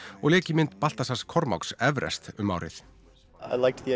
og lék í mynd Baltasars Kormáks Everest um árið ég